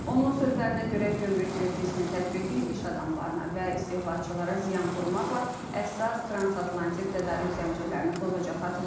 Onun sözlərinə görə, gömrük vergisinin tətbiqi iş adamlarına və istehlakçılara ziyan vurmaqla əsas transatlantik tədarük zəncirlərini pozacaq.